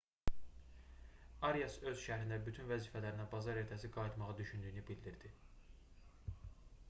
arias öz şərhində bütün vəzifələrinə bazar ertəsi qayıtmağı düşündüyünü bildirdi